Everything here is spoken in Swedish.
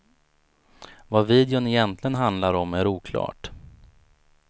Vad videon egentligen handlar om är oklart.